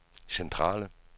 centrale